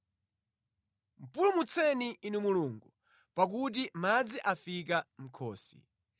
Pulumutseni Inu Mulungu, pakuti madzi afika mʼkhosi